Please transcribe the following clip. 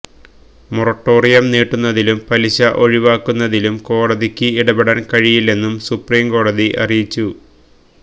moratorium നീട്ടുന്നതിലും പലിശ ഒഴിവാക്കുന്നതിലും കോടതിക്ക് ഇടപെടാന് കഴിയില്ലെന്നും സുപ്രിംകോടതി അറിയിച്ചു